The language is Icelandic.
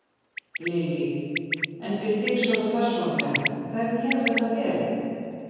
Lillý: En fyrir þig svona persónulega, hvernig hefur þetta verið?